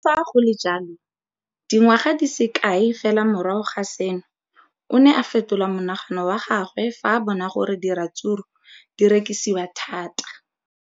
Le fa go le jalo, dingwaga di se kae fela morago ga seno, o ne a fetola mogopolo wa gagwe fa a bona gore diratsuru di rekisiwa thata.